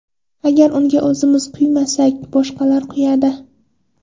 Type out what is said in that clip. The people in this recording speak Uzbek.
Agar unga o‘zimiz quymasak, boshqalar quyadi.